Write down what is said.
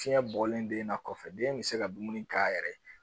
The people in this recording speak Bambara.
Fiɲɛ bɔlen don na kɔfɛ den bɛ se ka dumuni k'a yɛrɛ ye